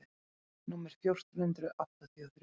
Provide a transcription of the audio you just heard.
númer fjórtán hundruð áttatíu og þrjú.